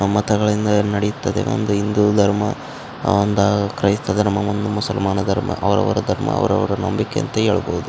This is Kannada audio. ಮತಗಳಿಂದ ನಡೆಯುತ್ತದೆ ಒಂದು ಹಿಂದೂ ಧರ್ಮ ಒಂದು ಕ್ರೈಸ್ತ ಧರ್ಮ ಒಂದು ಮುಸಲ್ಮಾನ ಧರ್ಮ ಅವರವರ ಧರ್ಮ ಅವರವರ ನಂಬಿಕೆ ಅಂತ ಹೇಳ್ಬಹುದು.